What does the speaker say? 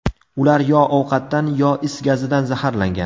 Ular yo ovqatdan, yo is gazidan zaharlangan.